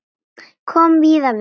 Kom víða við.